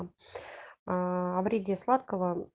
о вреде сладкого